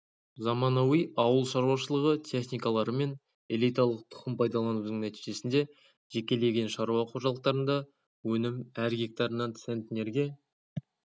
заманауи ауыл шаруашылығы техникалары мен элиталық тұқым пайдаланудың нәтижесінде жекелеген шаруа қожалықтарында өнім әр гектарынан центнерге